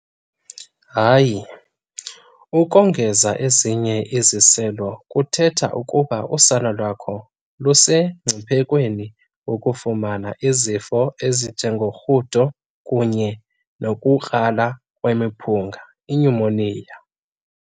Impendulo- Hayi, ukongeza ezinye iziselo kuthetha ukuba usana lakho lusemngciphekweni wokufumana izifo ezinjengorhudo kunye nokukrala kwemiphunga, inyumoniya.